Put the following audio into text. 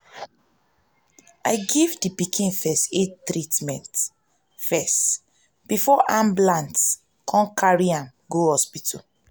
i give the pikin first aid treatment firs t before ambulance come carry am go hospital